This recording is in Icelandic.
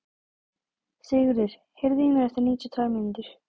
Sigurður, heyrðu í mér eftir níutíu og tvær mínútur.